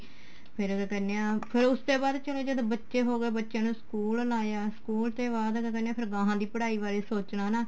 ਫੇਰ ਓ ਕਿਆ ਕਹਿਨੇ ਆ ਫੇਰ ਉਸ ਤੇ ਬਾਅਦ ਚਲੋ ਜਦੋਂ ਬੱਚੇ ਹੋ ਗਏ ਬੱਚਿਆਂ ਨੂੰ school ਲਾਇਆ school ਤੇ ਬਾਅਦ ਕਿਆ ਕਹਿਨੇ ਆ ਫੇਰ ਗਾਹ ਦੀ ਪੜ੍ਹਾਈ ਬਾਰੇ ਸੋਚਣਾ ਹਨਾ